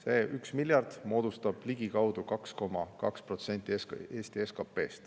See 1 miljard moodustab ligikaudu 2,2% Eesti SKP-st.